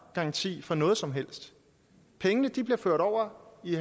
garanti for noget som helst pengene blev ført over i